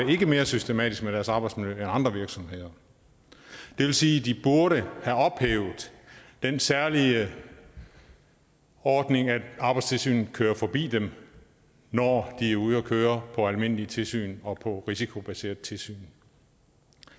mere systematisk med deres arbejdsmiljø end andre virksomheder det vil sige at de burde have ophævet den særlige ordning at arbejdstilsynet kører forbi dem når de er ude at køre på almindelige tilsyn og på risikobaserede tilsyn